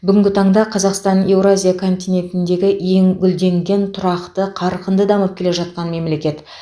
бүгінгі таңда қазақстан еуразия континентіндегі ең гүлденген тұрақты қарқынды дамып келе жатқан мемлекет